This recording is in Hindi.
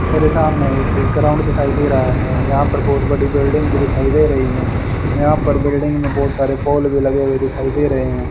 मेरे सामने एक ग्राउंड दिखाई दे रहा है यहां पर बहुत बड़ी बिल्डिंग भी दिखाई दे रही है यहां पर बिल्डिंग में बहुत सारे पोल भी लगे हुए दिखाई दे रहे हैं।